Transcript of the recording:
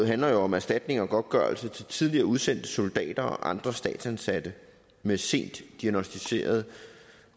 handler jo om erstatning og godtgørelse til tidligere udsendte soldater og andre statsansatte med sent diagnosticeret